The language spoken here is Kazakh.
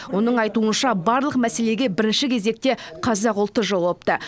оның айтуынша барлық мәселеге бірінші кезекте қазақ ұлты жауапты